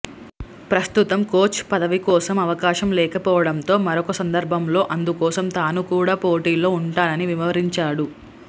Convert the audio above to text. ప్రస్తుతం కోచ్ పదవి కోసం అవకాశం లేకపోవడంతో మరొక సందర్భంలో అందుకోసం తాను కూడా పోటీలో ఉంటానని వివరించాడు